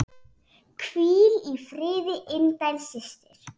Hvíl í friði indæl systir.